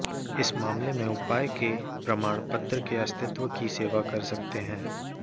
इस मामले में उपाय के प्रमाण पत्र के अस्तित्व की सेवा कर सकते हैं